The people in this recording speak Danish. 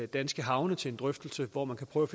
danske havne til en drøftelse hvor man kan prøve